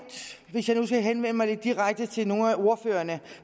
hvis jeg nu skal henvende mig lidt direkte til nogle af ordførerne